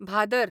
Bhadar